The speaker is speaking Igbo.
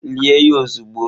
Lie ya ozugbo!